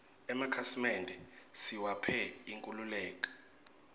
emakhasi mende siwaphe inkhululeke